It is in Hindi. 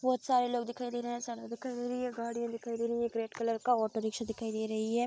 बोहोत सारे लोग दिखाई दे रहे हैं ऐसा लगा गाड़ियां दिखाई दे रही है एक रेड कलर का ऑटो रिक्शा दिखाई दे रही है।